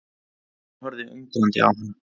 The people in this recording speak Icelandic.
Hann horfði undrandi á hana.